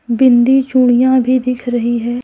बिंदी चूड़ियां भी दिख रही है।